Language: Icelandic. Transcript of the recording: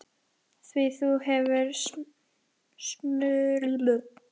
Því þú hefur smurður verið.